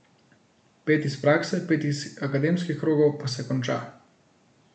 Pet iz prakse, pet iz akademskih krogov, pa se konča.